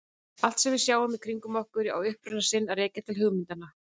Allt sem við sjáum í kringum okkur á uppruna sinn að rekja til hugmynda.